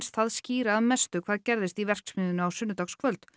það skýra að mestu hvað gerðist í verksmiðjunni á sunnudagskvöld